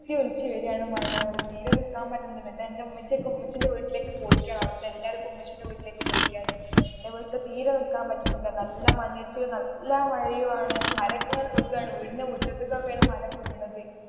ഒലിച്ചു വീഴാണ് മഴ കൊണ്ട് തീരെ നിക്കാൻ പറ്റണില്ല എന്നിട്ട് എന്റെ ഉമ്മച്ചി ഒക്കെ ഉമ്മച്ചീടെ വീട്ടിലേക്ക് പോയേക്കുവാന് അവിടത്തെ എല്ലാവരും ഇപ്പൊ ഉമ്മച്ചീടെ വീട്ടിലേക്ക് പോയേക്കുവാന് എന്റെ വീട്ടില് തീരെ നിക്കാൻ പറ്റണില്ല നല്ല നല്ല മഴയുമാണ് മരം ഒക്കെ ഇങ്ങനെ വീഴാണ് വീടിന്റെ മുറ്റത്തേക്കൊക്കെ ആണ് മരം ഒക്കെ വിഗ്ണത്.